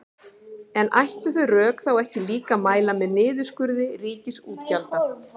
En ættu þau rök þá ekki líka að mæla með niðurskurði ríkisútgjalda?